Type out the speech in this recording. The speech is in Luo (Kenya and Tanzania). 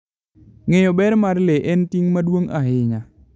Ng'eyo ber mar le en ting' maduong' ahinya.